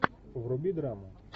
вруби драму